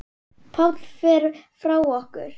Páll fer frá okkur.